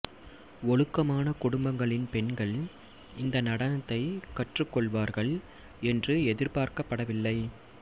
ஒழுக்கமான குடும்பங்களின் பெண்கள் இந்த நடனத்தை கற்றுக் கொள்வார்கள் என்று எதிர்பார்க்கப்படவில்லை